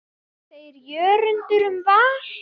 Hvað segir Jörundur um Val?